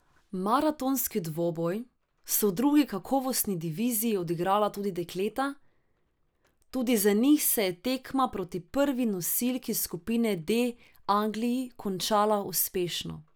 Maratonski dvoboj so v drugi kakovostni diviziji odigrala tudi dekleta, tudi za njih se je tekma proti prvi nosilki skupine D Angliji končala uspešno.